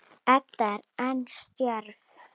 Edda er enn stjörf.